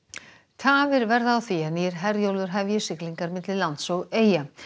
tafir verða á því að nýr Herjólfur hefji siglingar milli lands og eyja